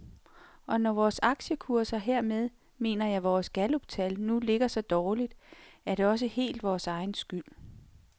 Og når vores aktiekurser, hermed mener jeg vores galluptal, nu ligger så dårligt, er det også helt vores egen skyld.